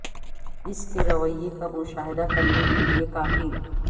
اس کے رویے کا مشاہدہ کرنے کے لئے کافی